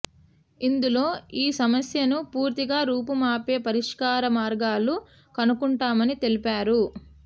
ఇందులో ఈ సమస్యను పూర్తిగా రూపుమాపే పరిష్కార మార్గాలు కనుక్కుంటామని తెలిపారు